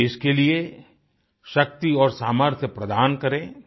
मुझे इसके लिए शक्ति और सामर्थ्य प्रदान करें